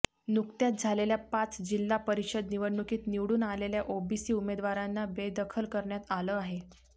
नुकत्याच झालेल्या पाच जिल्हा परिषद निवडणुकीत निवडून आलेल्या ओबीसी उमदेवारांना बेदखल करण्यात आलं आहे